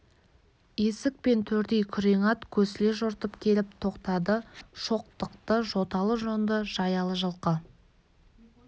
есік пен төрдей күрең ат көсіле жортып келіп тоқтады шоқтықты жоталы-жонды жаялы жылқы